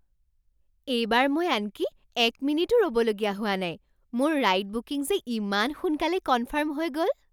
এইবাৰ মই আনকি এক মিনিটো ৰ'বলগীয়া হোৱা নাই। মোৰ ৰাইড বুকিং যে ইমান সোনকালে কনফাৰ্ম হৈ গ'ল!